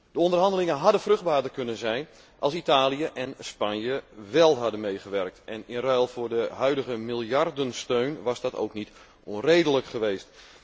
De onderhandelingen hadden vruchtbaarder kunnen zijn, als Italië en Spanje wél hadden meegewerkt en in ruil voor de huidige miljardensteun was dat ook niet onredelijk geweest.